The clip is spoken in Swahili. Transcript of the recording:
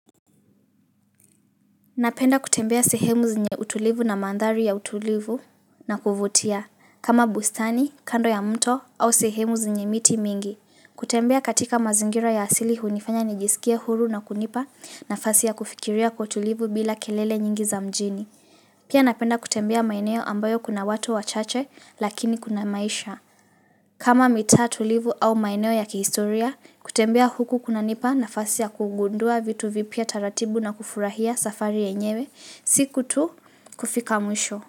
Napenda kutembea sehemu zenye utulivu na mandhari ya utulivu na kuvutia kama bustani, kando ya mto au sehemu zenye miti mingi. Kutembea katika mazingira ya asili hunifanya nijisikie huru na kunipa nafasi ya kufikiria kwa utulivu bila kelele nyingi za mjini. Pia napenda kutembea maeneo ambayo kuna watu wachache lakini kuna maisha. Kama mitaa tulivu au maeneo ya kihistoria, kutembea huku kunanipa nafasi ya kugundua vitu vipya taratibu na kufurahia safari yenyewe, siku tu kufika mwisho.